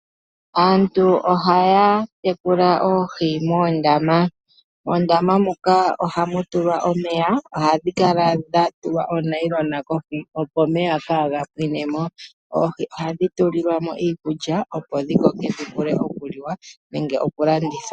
Aantu ohaya tekula oohi moondama. Moondama muka ohamu tulwa omeya na ohadhi kala dhatulwa onayilona kohi opo omeya kaga pwine mo. Oohi ohadhi tulilwa mo iikulya opo dhi koke dhi vule okuliwa nenge okulandithwa.